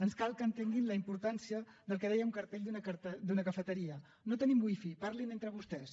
ens cal que entenguin la importància del que deia un cartell d’una cafeteria no tenim wifi parlin entre vostès